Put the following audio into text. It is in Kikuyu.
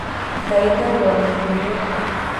Ndagĩtarĩ wa mahiũ nĩoka.